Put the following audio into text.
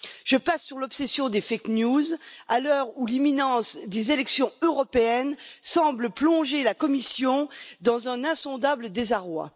Je passe sur l'obsession des fake news, à l'heure où l'imminence des élections européennes semble plonger la Commission dans un insondable désarroi.